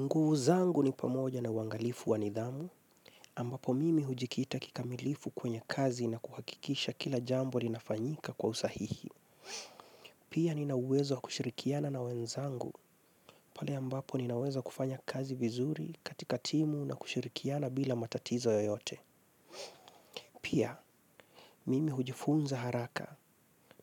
Nguvu zangu ni pamoja na wangalifu wa nidhamu, ambapo mimi hujikita kikamilifu kwenye kazi na kuhakikisha kila jambo linafanyika kwa usahihi. Pia ninawezo kushirikiana na wenzangu, pale ambapo ninawezo kufanya kazi vizuri katika timu na kushirikiana bila matatizo yoyote. Pia, mimi hujifunza haraka,